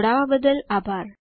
જોડવા બદલ આભાર